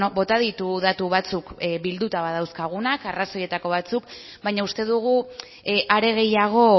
bota ditu datu batzuk bilduta badauzkagunak arrazoietako batzuk baina uste dugu are gehiago